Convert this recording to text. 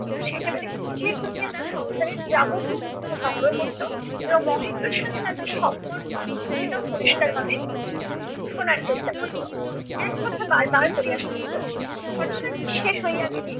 ওখানে একেবারে খুঁচিয়ে খুঁচিয়ে তার সংসারের যাবতীয় তথ্য সংগ্রহ করত এবং মহেন্দ্রর সাথে তাদের সম্পর্ক সেটাও পরিষ্কারভাবে শোনার চেষ্টা করত। এক কথা বার বার করিয়া শুনিত ঘটনা নিঃশেষ হইয়া গেলে